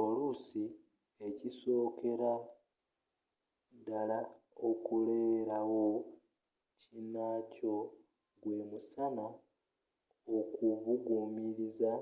oluusi ekisookera ddala okuleerawo kinnaakyo gwe musana okubugumiriza